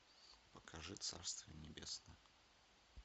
покажи царство небесное